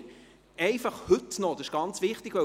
Dies aber einfach noch heute, das ist ganz wichtig!